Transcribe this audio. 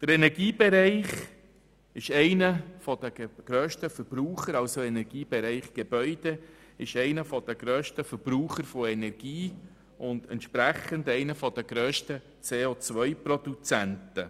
Der Energiebereich Gebäude ist einer der grössten Energieverbraucher und entsprechend einer der grössten COProduzenten.